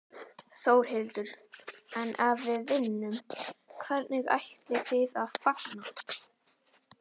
Þórhildur: En ef við vinnum, hvernig ætlið þið að fagna?